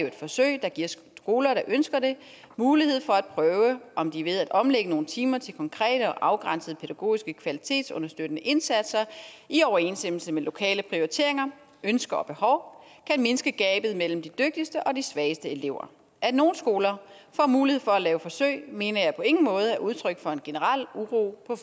et forsøg der giver skoler der ønsker det mulighed for at prøve om de ved at omlægge nogle timer til konkrete og afgrænsede pædagogiske kvalitetsunderstøttende indsatser i overensstemmelse med lokale prioriteringer ønsker og behov kan mindske gabet mellem de dygtigste og de svageste elever at nogle skoler får mulighed for at lave forsøg mener jeg på ingen måde er udtryk for en generel uro på